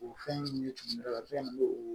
O fɛn min ye tumu la fɛn min